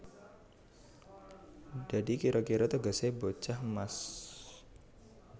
Dadi kira kira tegesé bocah emas